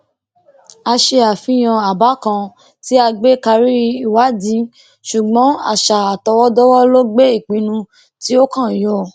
a ṣe àfihàn àbá kan tí a gbé karí ìwádìí ṣùgbọn àṣà àtọwọdọwọ ló gbé ìpinnu tí ó kàn yọ